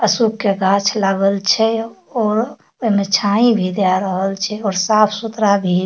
अशोक के गाछ लागल छै और ओय मे छाई भी दे रहल छै और साफ-सुथरा भी --